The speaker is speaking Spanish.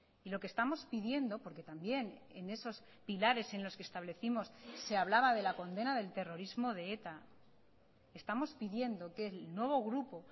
y lo que estamos pidiendo porque también en esos pilares en los que establecimos se hablaba de la condena del terrorismo de eta estamos pidiendo que el nuevo grupo